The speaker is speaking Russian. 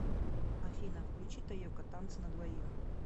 афина включи тайока танцы на двоих